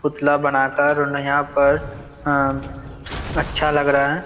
पुतला बना कर यहाँ पर अ अच्छा लग रहा है।